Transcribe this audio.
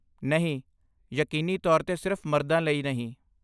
ਨਹੀਂ, ਯਕੀਨੀ ਤੌਰ 'ਤੇ ਸਿਰਫ਼ ਮਰਦਾਂ ਲਈ ਨਹੀਂ।